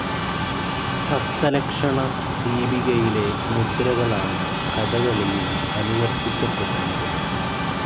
ഹസ്തലക്ഷണ ദീപികയിലെ മുദ്രകളാണ് കഥകളിയിൽ അനുവർത്തിക്കപ്പെടുന്നത്.